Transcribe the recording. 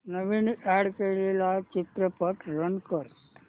नवीन add केलेला चित्रपट run कर